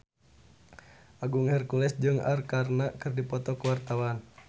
Agung Hercules jeung Arkarna keur dipoto ku wartawan